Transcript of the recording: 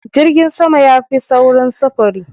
Jirgin sama yafi saurin sufuri.